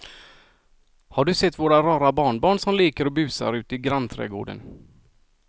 Har du sett våra rara barnbarn som leker och busar ute i grannträdgården!